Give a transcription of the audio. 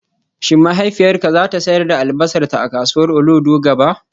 Shin mahaifiyarka za ta sayar da albasarta a kasuwar Olodo gaba?